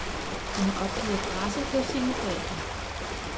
Han har opgivet adresse hos sine forældre.